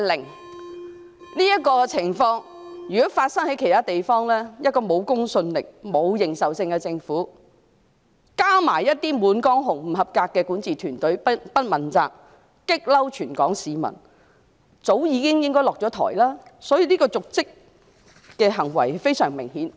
如果這種情況發生在其他地方，一個沒有公信力和認受性的政府，加上不及格的管治團隊，既不問責，又觸怒全港市民，理應早已下台，故此這方面的瀆職行為也是非常明顯的。